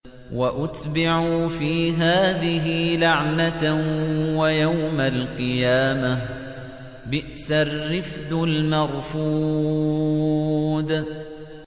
وَأُتْبِعُوا فِي هَٰذِهِ لَعْنَةً وَيَوْمَ الْقِيَامَةِ ۚ بِئْسَ الرِّفْدُ الْمَرْفُودُ